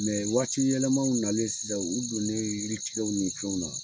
waatiyɛlɛmaw nanen sisan u donnen yiritigɛw ni fɛnw na.